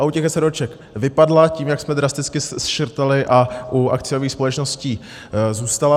A u těch eseróček vypadla tím, jak jsme drasticky škrtali, a u akciových společností zůstala.